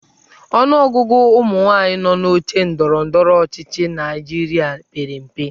Ọnụọgụ ụmụnwaanyị nọ n'oche ndọrọ ndọrọ ọchịchị Naịjirịa pere mpe.